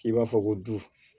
I b'a fɔ ko du